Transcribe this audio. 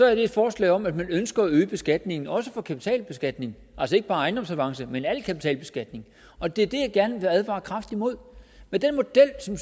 er det et forslag om at man ønsker at øge beskatningen også for kapitalbeskatning altså ikke bare ejendomsavancer men al kapitalbeskatning og det er det jeg gerne vil advare kraftigt imod med den model som